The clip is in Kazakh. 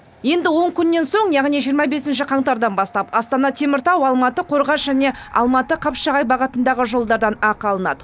енді он күннен соң яғни жиырма бесінші қаңтардан бастап астана теміртау алматы қорғас және алматы қапшағай бағытындағы жолдардан ақы алынады